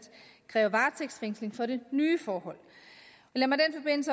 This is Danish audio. kræve varetægtsfængsling for det nye forhold